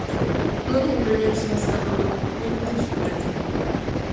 ну ну примирительно сказал робот не будем спорить